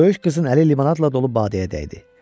Böyük qızın əli limonadla dolu badəyə dəydi.